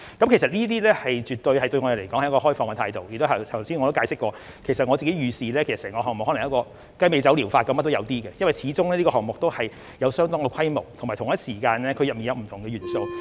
其實我們對此絕對是抱持開放的態度，而且我剛才也解釋過，我自己預視整個項目可能跟雞尾酒療法一樣，甚麼也有一些，因為這個項目始終有一定規模，而且同一時間，當中有不同的元素。